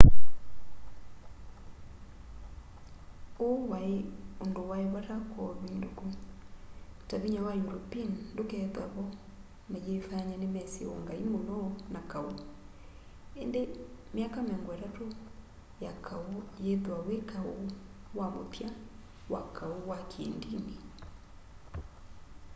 uu wai undu wai vata kwa uvinduku ta vinya wa european ndukethwaa vo mayifanya nimesi ungai muno na kau indi myaka miongo itatu ya kau yithwa wi kau wa muthya wa kau wa kiindini